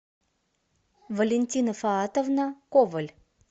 валентина фаатовна коваль